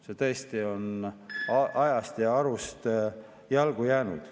See on tõesti ajast ja arust, ajale jalgu jäänud.